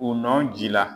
U nɔn ji la